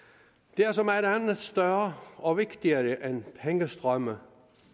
der er så meget andet større og vigtigere end pengestrømme